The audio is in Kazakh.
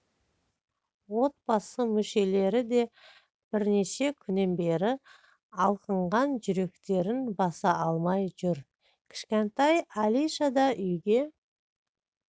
отбасы мүшелері де бірнеше күннен бері алқынған жүректерін баса алмай жүр кішкентай алиша да үйге